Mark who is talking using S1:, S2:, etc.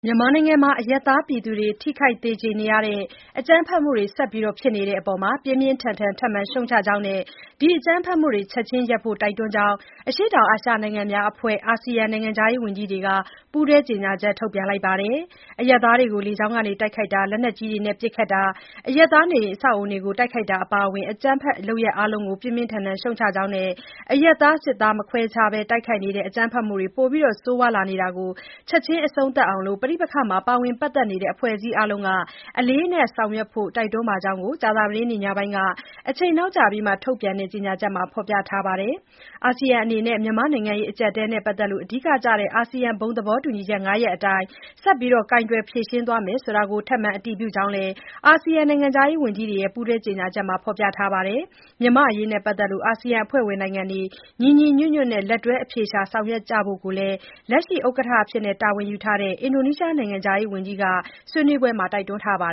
S1: မြန်မာနိုင်ငံမှာ အရပ်သားပြည်သူတွေ ထိခိုက် သေကြေနေရတဲ့ အကြမ်းဖက်မှုတွေ ဆက်ဖြစ်နေတဲ့အပေါ် ပြင်းပြင်းထန်ထန် ထပ်မံ ရှုတ်ချကြောင်း နဲ့ ဒီအကြမ်းဖက်မှုတွေ ချက်ချင်းရပ်ဖို့ တိုက်တွန်းကြောင်း အရှေ့တောင်အာရှ နိုင်ငံများအဖွဲ့ အာဆီယံ နိုင်ငံခြားရေးဝန်ကြီးတွေက ပူးတွဲ ကြေညာချက် ထုတ်ပြန်ပါတယ်။ “လေကြောင်းတိုက်ခိုက်တာ၊ လက်နက်ကြီးတွေနဲ့ ပစ်ခတ်တာ၊ အရပ်သားနေအိမ် အဆောက်အဦးတွေကို တိုက်ခိုက်တာ အပါအဝင် အကြမ်းဖက် လုပ်ရပ်အားလုံးကို ပြင်းပြင်းထန်ထန် ရှုတ်ချပါတယ်။ အရပ်သား စစ်သား မခွဲခြား တိုက်ခိုက်နေတဲ့ အကြမ်းဖက်မှုတွေ ပိုမို ဆိုးရွားလာနေတာ ချက်ချင်း အဆုံးသတ်အောင် ပဋိပက္ခမှာ ပါဝင်ပတ်သက်နေတဲ့ အဖွဲ့အစည်းအားလုံးက အလေးအနက် ဆောင်ရွက်ဖို့ တိုက်တွန်းပါတယ်” လို့ ကြာသပတေးနေ့ ညပိုင်းက အချိန်နောက်ကျပြီးမှ ထုတ်ပြန်တဲ့ ကြေညာချက်မှာ ဖော်ပြထားပါတယ်။ အာဆီယံ အနေနဲ့ မြန်မာ့နိုင်ငံရေး အကျပ်အတည်းနဲ့ပတ်သက်လို့ အဓိကကျတဲ့ အာဆီယံ ဘုံသဘောတူညီချက် ၅ ရပ်အတိုင်း ဆက်ပြီး ကိုင်တွယ် ဖြေရှင်းသွားမယ်ဆိုတာကို ထပ်မံ အတည်ပြုကြောင်းလည်း အာဆီယံနိုင်ငံခြားရေးဝန်ကြီးတွေရဲ့ ပူးတွဲ ကြေညာချက်မှာ ဖော်ပြထားပါတယ်။ မြန်မာ့အရေးနဲ့ပတ်သက်လို့ အာဆီယံ အဖွဲ့ဝင်နိုင်ငံတွေ ညီညီညွတ်ညွတ်နဲ့ လက်တွဲ အဖြေရှာ ဆောင်ရွက်ကြဖို့ လက်ရှိ အလှည့်ကျ ဥက္ကဋ္ဌ တာဝန်ယူထားတဲ့ အင်ဒိုနီးရှား နိုင်ငံခြားရေးဝန်ကြီးက ဗုဒ္ဓဟူးနေ့က ဆွေးနွေးပွဲမှာ တိုက်တွန်းခဲ့ပါ